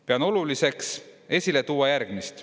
Pean oluliseks esile tuua järgmist.